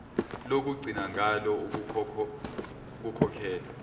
lokugcina ngalo ukukhokhela